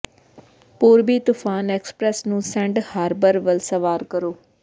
ਪੂਰਬੀ ਤੂਫਾਨ ਐਕਸਪ੍ਰੈੱਸ ਨੂੰ ਸੈਂਡ ਹਾਰਬਰ ਵੱਲ ਸਵਾਰ ਕਰੋ